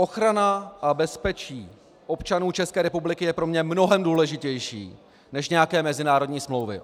Ochrana a bezpečí občanů České republiky je pro mě mnohem důležitější než nějaké mezinárodní smlouvy.